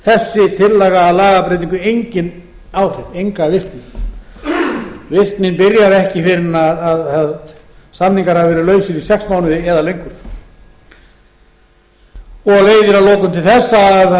þessi tillaga að lagabreytingu engin áhrif enga virkni virknin byrjar ekki fyrr en samninga hafa verið lausir í sex mánuði eða lengur og leiðir að lokum til þess að